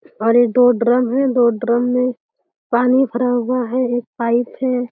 और ये दो ड्रम है। दो ड्रम में पानी भरा हुआ है। एक पाइप है।